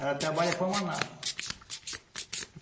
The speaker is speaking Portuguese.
Ela trabalha para Manaus.